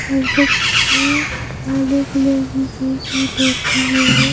लगभग छकाले कलर की कुर्सी लगी है।